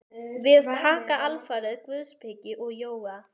Við taka alfarið guðspeki og jóga.